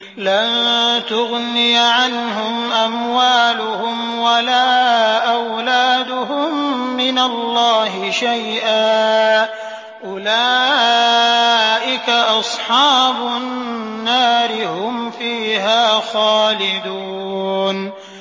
لَّن تُغْنِيَ عَنْهُمْ أَمْوَالُهُمْ وَلَا أَوْلَادُهُم مِّنَ اللَّهِ شَيْئًا ۚ أُولَٰئِكَ أَصْحَابُ النَّارِ ۖ هُمْ فِيهَا خَالِدُونَ